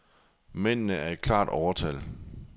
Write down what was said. Mændene er klart i overtal.